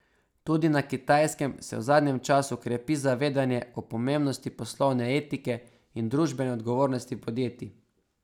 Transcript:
Tudi na Kitajskem se v zadnjem času krepi zavedanje o pomembnosti poslovne etike in družbene odgovornosti podjetij.